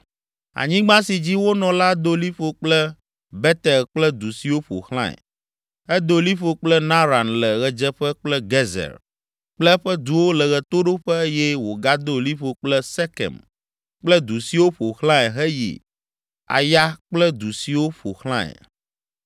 Anyigba si dzi wonɔ la do liƒo kple Betel kple du siwo ƒo xlãe; edo liƒo kple Naran le ɣedzeƒe kple Gezer kple eƒe duwo le ɣetoɖoƒe eye wògado liƒo kple Sekem kple du siwo ƒo xlãe heyi Aya kple du siwo ƒo xlãe.